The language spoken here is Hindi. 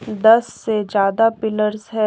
दस से ज्यादा पिलर्स है।